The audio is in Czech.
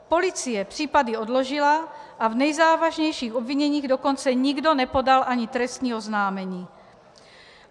Policie případy odložila, a v nejzávažnějších obviněních dokonce nikdo nepodal ani trestní oznámení.